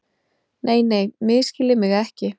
Nei, nei, misskiljið mig ekki.